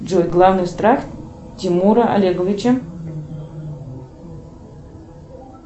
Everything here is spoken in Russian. джой главный страх тимура олеговича